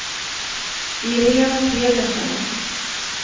Irene Pedersen